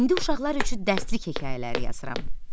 İndi uşaqlar üçün dərslik hekayələri yazıram.